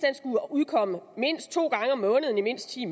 skulle udkomme mindst to gange om måneden i mindst ti